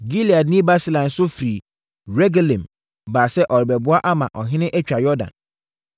Gileadni Barsilai nso firi Rogelim baa sɛ ɔrebɛboa ama ɔhene atwa Yordan.